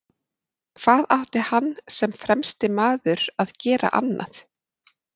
Hvað átti hann sem fremsti maður að gera annað?